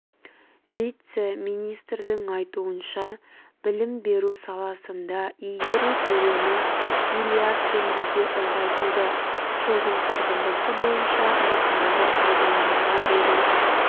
вице-министрдің айтуынша білім беру саласында игеру көлемі миллиард теңгеге ұлғайтылды жылдың қорытындысы бойынша нысанды пайдалануға беру